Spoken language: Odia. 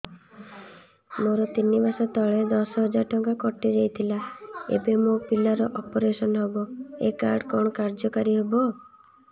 ମୋର ତିନି ମାସ ତଳେ ଦଶ ହଜାର ଟଙ୍କା କଟି ଯାଇଥିଲା ଏବେ ମୋ ପିଲା ର ଅପେରସନ ହବ ଏ କାର୍ଡ କଣ କାର୍ଯ୍ୟ କାରି ହବ